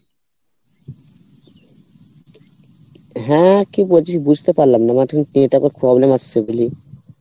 হ্যাঁ কী বলছিস বুঝতে পারলাম না মাঝখানে problem আসছে বুঝলি?